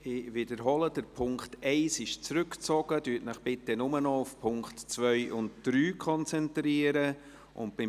Ich wiederhole: Der Punkt 1 ist zurückgezogen worden, konzentrieren Sie sich deshalb bitte nur noch auf die Punkte 2 und 3.